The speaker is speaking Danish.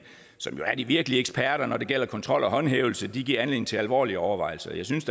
som jo er de virkelige eksperter når det gælder kontrol og håndhævelse giver anledning til alvorlige overvejelser jeg synes